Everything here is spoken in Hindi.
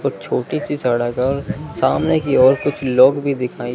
तो छोटी सी सड़क है और सामने की ओर कुछ लोग भी दिखाई--